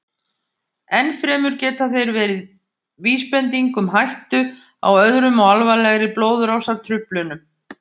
Enn fremur geta þeir verið vísbending um hættu á öðrum og alvarlegri blóðrásartruflunum.